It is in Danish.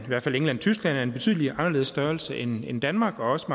hvert fald england og tyskland af en betydelig anderledes størrelse end danmark og også